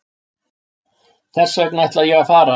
Þessvegna ætla ég að fara.